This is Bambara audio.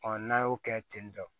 n'a y'o kɛ ten tɔ